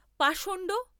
পাষণ্ড!